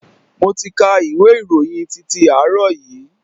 Mo ti ka ìwé ìròyìn titi àárọ̀ yìí.